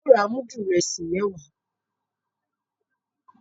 Ao rà mudu Ìrẹsí mẹwa